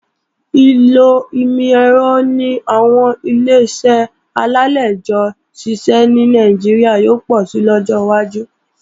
Ìlò ìmọ̀-ẹ̀rọ ní àwọn Ileṣẹ́ alálejò ṣíṣe ní Nàìjíríà yóò pọ̀si lọ́jọ́ wájú